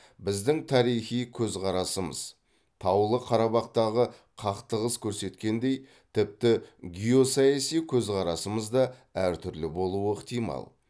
біздің тарихи көзқарасымыз таулы қарабақтағы қақтығыс көрсеткендей тіпті геосаяси көзқарасымыз да әртүрлі болуы ықтимал